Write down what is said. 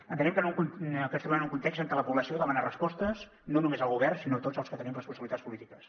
entenem que ens trobem en un context en què la població demana respostes no només al govern sinó a tots els que tenim responsabilitats polítiques